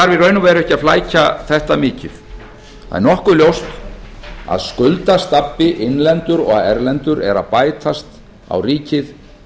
í raun og veru ekki að flækja þetta mikið það er nokkuð ljóst að skuldastabbi innlendur og erlendur er að bætast á ríkið